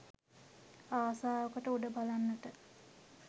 ආසාවකට උඩ බලන්නට